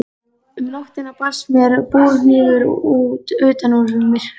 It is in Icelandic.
Um nóttina barst mér búrhnífur utan úr myrkrinu.